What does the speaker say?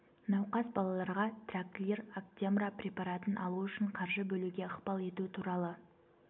науқас балаларға траклир актемра препаратын алу үшін қаржы бөлуге ықпал ету туралы